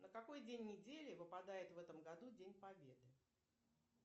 на какой день недели выпадает в этом году день победы